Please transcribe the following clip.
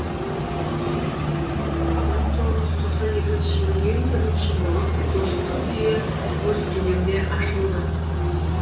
мың тоғыз жүз тоқсан екінші жылы ең бірінші болып достық үйі өскеменде ашылды